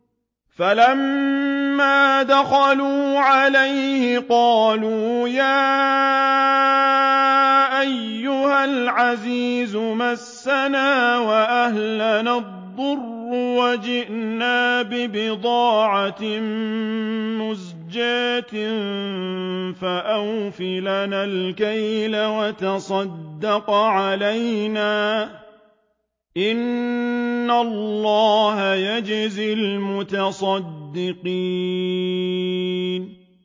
فَلَمَّا دَخَلُوا عَلَيْهِ قَالُوا يَا أَيُّهَا الْعَزِيزُ مَسَّنَا وَأَهْلَنَا الضُّرُّ وَجِئْنَا بِبِضَاعَةٍ مُّزْجَاةٍ فَأَوْفِ لَنَا الْكَيْلَ وَتَصَدَّقْ عَلَيْنَا ۖ إِنَّ اللَّهَ يَجْزِي الْمُتَصَدِّقِينَ